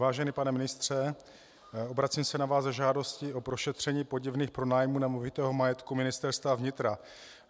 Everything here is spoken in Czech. Vážený pane ministře, obracím se na vás s žádostí o prošetření podivných pronájmů nemovitého majetku ministerstva vnitra.